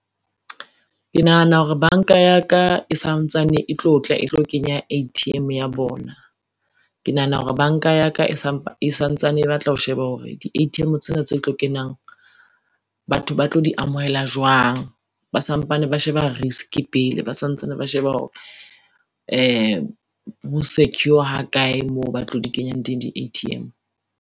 Ke nahana hore banka ya ka e santsane e tlo tla e tlo kenya A_T_M ya bona. Ke nahana hore banka ya ka e santsane e batla ho sheba hore di-A_T_M tsena tse tlo kenang batho ba tlo di amohela jwang. Ba sampane ba sheba risk pele, ba santsane ba sheba hore ho secure ha kae moo ba tlo di kenyang di-A_T_M.